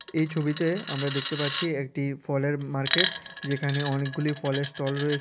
এই ছবিতে আমরা দেখতে পাচ্ছি একটি ফলের মার্কেট যেখানে অনেকগুলি ফলের স্টল রয়েছে।